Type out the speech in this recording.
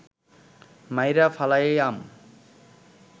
মাইরা ফালাইয়াম